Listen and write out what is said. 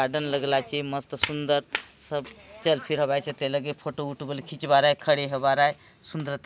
garden लगलाचही मस्त सुंदर चल फिर हवाई से फोटो वोटो सब खिंचवा रहलआए खड़े रहा लाए सुंदरता--